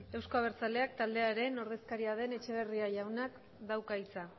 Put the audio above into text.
euzko abertzaleak taldearen ordezkaria den etxeberria jaunak dauka hitza